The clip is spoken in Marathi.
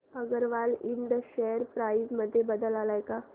अगरवाल इंड शेअर प्राइस मध्ये बदल आलाय का